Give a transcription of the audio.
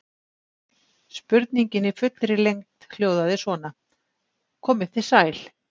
Spurningin í fullri lengd hljóðaði svona: Komið þið sæl.